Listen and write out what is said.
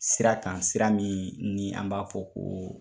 Sira kan sira min ni an b'a fɔ ko